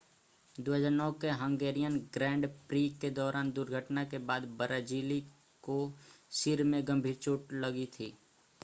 2009 के Hungarian grand prix के दौरान दुर्घटना के बाद ब्राज़िली को सिर में गंभीर चोट लगी थी